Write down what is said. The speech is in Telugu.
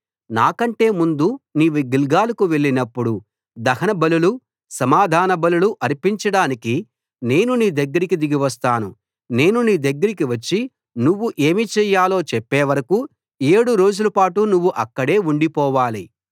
నాకంటే ముందు నీవు గిల్గాలుకు వెళ్ళినప్పుడు దహన బలులు సమాధాన బలులు అర్పించడానికి నేను నీ దగ్గరికి దిగి వస్తాను నేను నీ దగ్గరకి వచ్చి నువ్వు ఏమి చేయాలో చెప్పేవరకూ ఏడు రోజులపాటు నువ్వు అక్కడే ఉండిపోవాలి